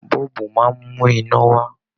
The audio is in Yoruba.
Bọ́ọ̀bù máa ńmú iná wá.